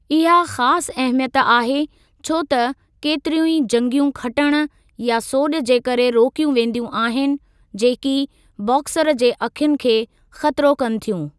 इहा ख़ासि अहमियत आहे छो त केतिरियूं ई जंगियूं खटणु या सोॼि जे करे रोकियूं वेंदियूं आहिनि जेकी बॉक्सर जे अखियुनि खे ख़तिरो कनि थियूं।